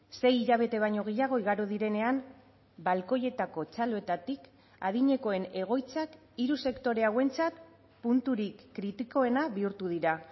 sei hilabete baino gehiago igaro direnean balkoietako txaloetatik adinekoen egoitzak hiru sektore hauentzat punturik kritikoena bihurtu dira